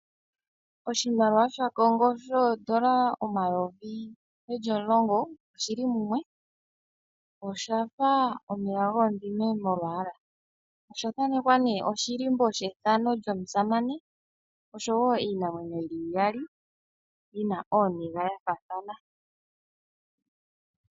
Oshimaliwa sha Kongo shoondola omayovi geli omulongo oshili mumwe. Oshafa omeya gomudhime molwaala. Osha thanekwa nee oshilimbo shethano lyomusamane oshowo iinamwenyo yili iyali yina ooniga ya faathana.